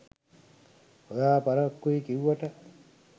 ඔයා පරක්කුයි කිව්වට